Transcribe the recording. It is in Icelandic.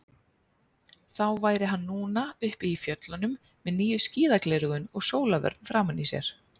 Þá væri hann núna uppi í fjöllunum með nýju skíðagleraugun og sólarvörn framan í sér.